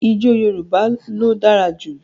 Ìjọ̀ Yorùbá ló dára jú.